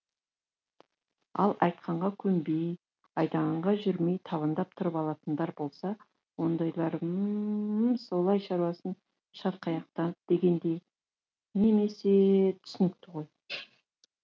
ал айтқанға көнбей айдағанға жүрмей табандап тұрып алатындар болса ондайлар м м м солай шаруасын шатқаяқтатып дегендей немесе түсінікті ғой